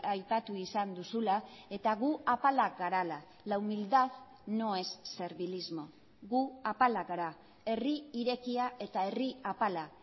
aipatu izan duzula eta gu apalak garela la humildad no es servilismo gu apalak gara herri irekia eta herri apala